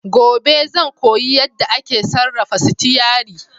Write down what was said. Gobe ​​zan koyi yadda ake sarrafa sitiyari.